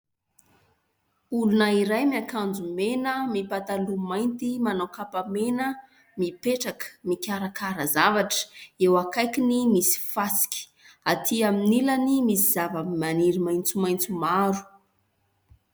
Olona iray miakanjo mena, mipataloha mainty, manao kapa mena, mipetraka mikarakara zavatra. Eo akaikiny misy fasika, atỳ amin'ny ilany misy zavamaniry maitsomaitso maro.